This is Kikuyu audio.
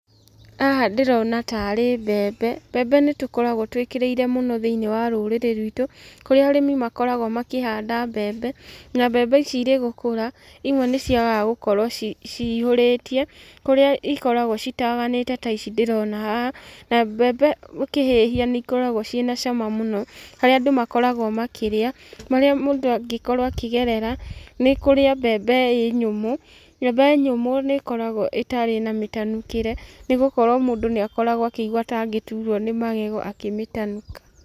Haha ndĩrona tarĩ mbembe. Mbembe nĩ tũkoragwo twĩkĩrĩire mũno thĩinĩ wa rũrĩrĩ rwitũ, kũrĩa arĩmi makoragwo makĩhanda mbembe, na mbembe ici irĩgũkũra, imwe nĩ ciagaga gũkorwo cihũrĩtie, kũrĩa ikoragwo citaganĩte ta ici ndĩrona haha, na mbembe ũkĩhĩhia nĩ ikoragwo ciĩna cama mũno, harĩa andũ makoragwo makĩrĩa. Marĩa mũndũ angĩkorwo akĩgerera, nĩ kũrĩa mbembe ĩ nyũmũ. Mbembe nyũmũ nĩ ĩkoragwo ĩtarĩ na mĩtanukĩre, nĩ gũkorwo mũndũ nĩ akoragwo akĩigua ta angĩturwo nĩ magego akĩmĩtanuka.